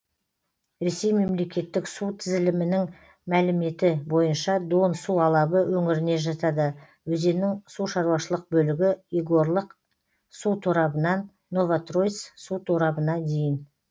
ресей мемлекеттік су тізілімінің мәліметі бойынша дон су алабы өңіріне жатады өзеннің сушаруашылық бөлігі егорлык су торабынан новотроиц су торабына дейін